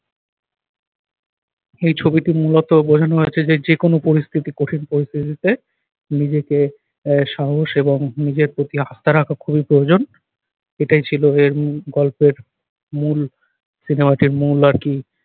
এই ছবিটি মূলত বোঝানো হয়েছে যে, যে কোন পরিস্থিতি কঠিন পরিস্থিতিতে নিজেকে আহ সাহস এবং নিজের প্রতি আস্থা রাখা খুবই প্রয়োজন এটাই ছিল এর উহ গল্পের মূল সিনেমাটির মূল আর কি